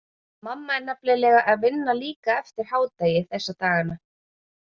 Mamma er nefnilega að vinna líka eftir hádegi þessa dagana.